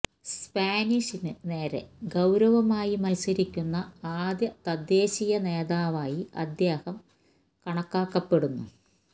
സ്പാനിഷിന് നേരെ ഗൌരവമായി മത്സരിക്കുന്ന ആദ്യ തദ്ദേശീയ നേതാവായി അദ്ദേഹം കണക്കാക്കപ്പെടുന്നു